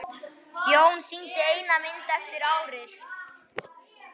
Jón sýndi eina mynd eftir árið.